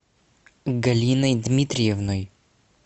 галиной дмитриевной